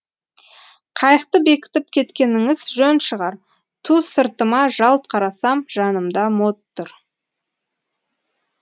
қайықты бекітіп кеткеніңіз жөн шығар ту сыртыма жалт қарасам жанымда мод тұр